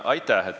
Aitäh!